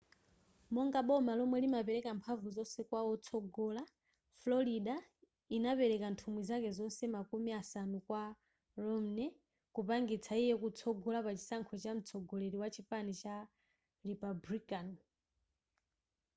monga boma lomwe limapeleka mphanvu zonse kwa wotsogola florida inapeleka nthumwi zake zonse makumi asanu kwa romney kumpangitsa iye kutsogola pachisankho cha mtsogoleri wa chipani chama republican